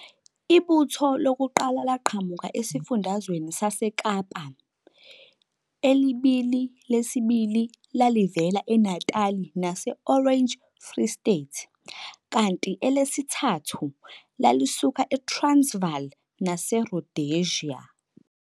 Ibutho lokuqala laqhamuka esiFundazweni saseKapa, eliBili lesibili lalivela eNatali nase- Orange Free State kanti elelesithathu lalisuka eTransvaal naseRhodesia.